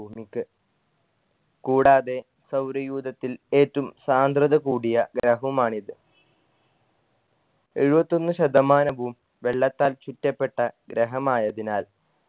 ഭൂമിക്ക് കൂടാതെ സൗരയൂഥത്തിൽ ഏറ്റും സാന്ദ്രത കൂടിയ ഗ്രഹുമാണ് ഇത് എഴുവത്തൊന്ന് ശതമാനവും വെള്ളത്താൽ ചുറ്റപ്പെട്ട ഗ്രഹമായതിനാൽ